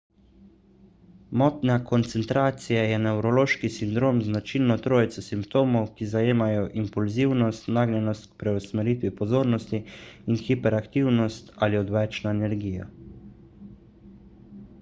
motnja koncentracije je nevrološki sindrom z značilno trojico simptomov ki zajemajo impulzivnost nagnjenost k preusmeritvi pozornosti in hiperaktivnost ali odvečno energijo